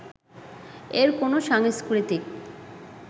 এর কোনো সাংস্কৃতিক